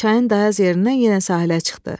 Çayın dayaz yerindən yenə sahilə çıxdı.